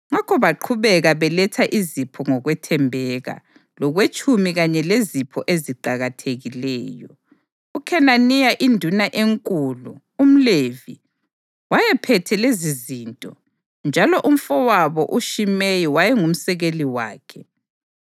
Ngakho baqhubeka beletha izipho ngokwethembeka, lokwetshumi kanye lezipho eziqakathekileyo. UKhenaniya induna enkulu, umLevi, wayephethe lezizinto, njalo umfowabo uShimeyi wayengumsekeli wakhe.